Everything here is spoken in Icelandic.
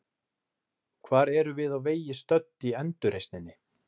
Hvar erum við á vegi stödd í endurreisninni?